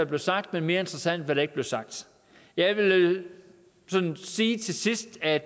blev sagt men mere interessant hvad der ikke blev sagt jeg vil sige til sidst at